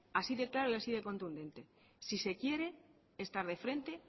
así de claro y así de contundente si se quiere estar de frente